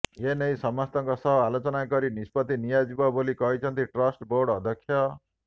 ଏନେଇ ସମସ୍ତଙ୍କ ସହ ଆଲୋଚନା କରି ନିଷ୍ପତି ନିଆଯିବ ବୋଲି କହିଛନ୍ତି ଟ୍ରଷ୍ଟ ବୋର୍ଡ ଅଧ୍ୟକ୍ଷ